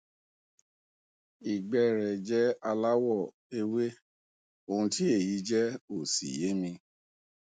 ìgbẹ ẹ rẹ jẹ aláwọ ewé ohun tí èyí jẹ ò sì yé mi